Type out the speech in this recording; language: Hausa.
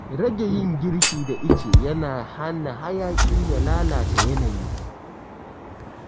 Rage yin girki da ice yana hana hayaƙi ya lalata yanayi